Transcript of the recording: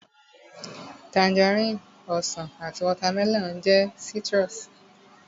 Tangerine, Ọsàn àti watermelon jẹ́ citrus